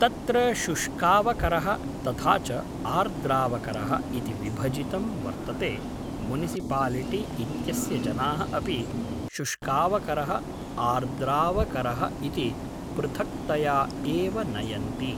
तत्र शुष्कावकरः तथा च आर्द्रावकरः इति विभजितं वर्तते मुनिसिपालिटि इत्यस्य जनाः अपि शुष्कावकरः आर्द्रावकरः इति पृथक्तया एव नयन्ति